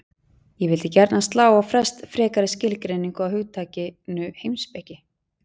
Ég vildi gjarnan slá á frest frekari skilgreiningu á hugtakinu heimspeki.